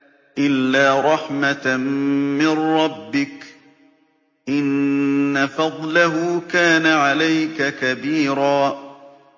إِلَّا رَحْمَةً مِّن رَّبِّكَ ۚ إِنَّ فَضْلَهُ كَانَ عَلَيْكَ كَبِيرًا